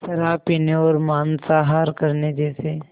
शराब पीने और मांसाहार करने जैसे